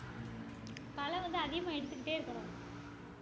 களை வந்து அதிகமா எடுத்துக்கிட்டே இருக்கணும்